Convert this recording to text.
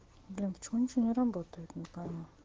блин почему ничего не работает не пойму